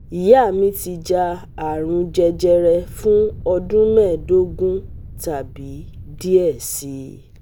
Iya mi ti ja arun jẹjẹrẹ fun ọdun mẹdogun tabi diẹ sii